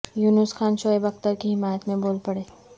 یونس خان شعیب اختر کی حمایت میں بول پڑے